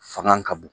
Fanga ka bon